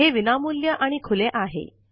हे विनामूल्य आणि खुले आहे